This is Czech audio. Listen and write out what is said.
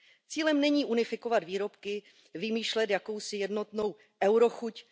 Cílem není unifikovat výrobky, vymýšlet jakousi jednotnou eurochuť.